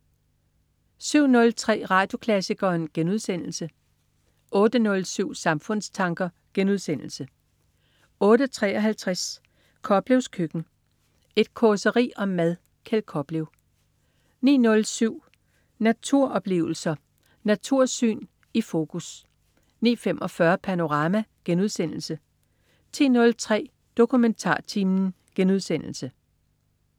07.03 Radioklassikeren* 08.07 Samfundstanker* 08.53 Koplevs køkken. Et causeri om mad. Kjeld Koplev 09.07 Natursyn. Naturoplevelsen i fokus 09.45 Panorama* 10.03 DokumentarTimen*